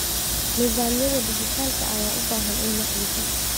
Nidaamyada dhijitaalka ah ayaa u baahan in la xoojiyo.